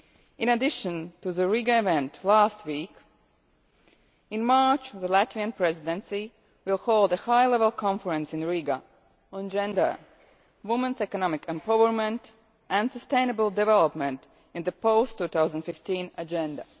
In addition to the Riga event last week, in March the Latvian Presidency will hold a high level conference in Riga on gender, women's economic empowerment and sustainable development in the post 2015 agenda.